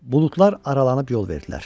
Buludlar aralanıb yol verdilər.